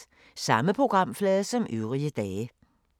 Samme programflade som øvrige dage